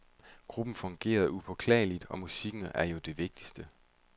Gruppen fungerede upåklageligt, og musikken er jo det vigtigste.